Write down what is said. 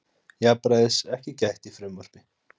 Jafnræðis ekki gætt í frumvarpi